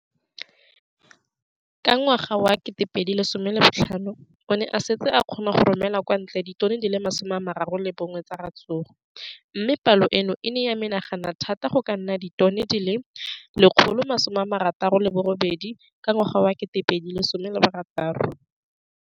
Ka ngwaga wa 2015, o ne a setse a kgona go romela kwa ntle ditone di le 31 tsa ratsuru mme palo eno e ne ya menagana thata go ka nna ditone di le 168 ka ngwaga wa 2016.